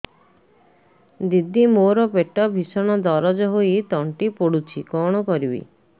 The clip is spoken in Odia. ଦିଦି ମୋର ପେଟ ଭୀଷଣ ଦରଜ ହୋଇ ତଣ୍ଟି ପୋଡୁଛି କଣ କରିବି